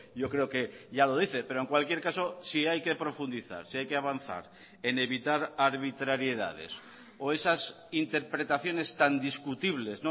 yo creo que ya lo dice pero en cualquier caso si hay que profundizar si hay que avanzar en evitar arbitrariedades o esas interpretaciones tan discutibles